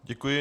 Děkuji.